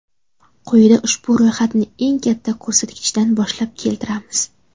Quyida ushbu ro‘yxatni eng katta ko‘rsatkichdan boshlab keltiramiz.